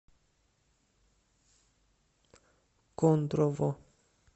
кондрово